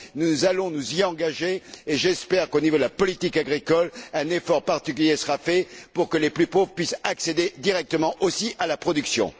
Nous allons nous y consacrer et j'espère qu'au niveau de la politique agricole, un effort particulier sera fait pour que les plus pauvres puissent accéder directement aussi à la production.